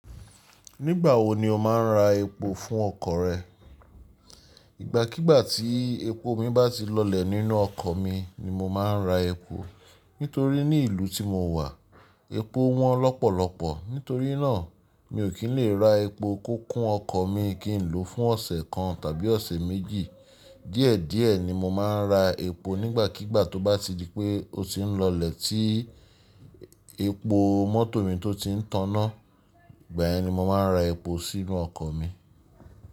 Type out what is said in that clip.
Nígbà wo ni o máa ń ra epo fún ọkọ̀ rẹ? Ìgbàkígbà tí epo mi bá ti lọlẹ̀ nínú ọkọ̀ mi ni mo máa ń ra epo. Nítorí ní ìlú tí mo wà, epo wọ́n lọ́pọ̀lọpọ̀, nítorí náà mi ò kí n lè ra epo kókó ọkọ̀ mi kí n lòó fún ọ̀sẹ̀ kan tàbí ọ̀sẹ̀ méjì. Díẹ̀díẹ̀ ni mo máa ń ra epo nígbàkígbà tó bá ti di pé ó ti ń lọlẹ̀ tí epo mọ́tò mi tó ti ń tànná, igba yen mo máa ra epo sínú ọkọ̀ mi.